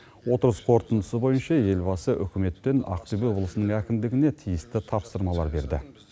отырыс қорытындысы бойынша елбасы үкімет пен ақтөбе облысының әкімдігіне тиісті тапсырмалар берді